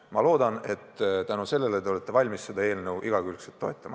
Ma loodan, et tänu sellele te olete valmis seda eelnõu igakülgselt toetama.